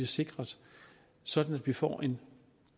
sikret sådan at vi får en